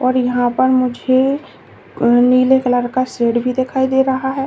और यहां पर मुझे नीले कलर का शेड भी दिखाई दे रहा है।